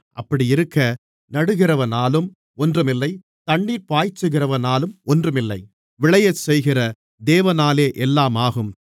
அப்படியிருக்க நடுகிறவனாலும் ஒன்றுமில்லை தண்ணீர்ப் பாய்ச்சுகிறவனாலும் ஒன்றுமில்லை விளையச்செய்கிற தேவனாலே எல்லாம் ஆகும்